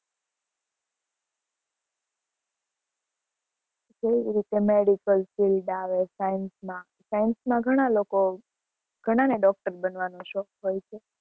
એવી જ રીતે medical field આવે, science માં, science માં ઘણા લોકો, ઘણાને doctor બનવાનો શોખ હોય છે.